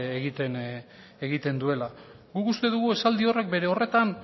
egiten duela guk uste dugu esaldi horrek bere horretan